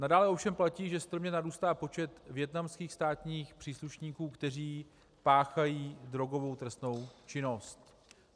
Nadále ovšem platí, že strmě narůstá počet vietnamských státních příslušníků, kteří páchají drogovou trestnou činnost.